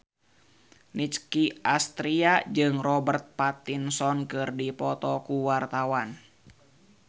Nicky Astria jeung Robert Pattinson keur dipoto ku wartawan